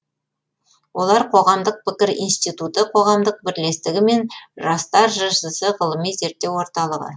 олар қоғамдық пікір институты қоғамдық бірлестігі мен жастар жшс ғылыми зерттеу орталығы